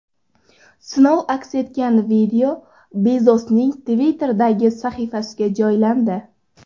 Sinov aks etgan video Bezosning Twitter’dagi sahifasiga joylandi .